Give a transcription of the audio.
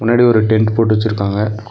முன்னாடி ஒரு டென்ட் போட்டு வெச்சுருக்காங்க.